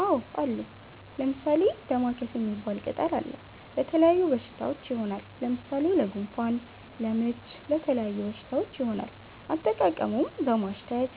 አዎ አሉ። ለምሣሌ፦ ደማከሴ ሚባል ቅጠል አለ። ለተለያዩ በሽታዎች ይሆናል። ለምሣሌ ለጉንፋን፣ ለምች ለተለያዩ በሽታዎች ይሆናል። አጠቃቀሙም በማሽተት፣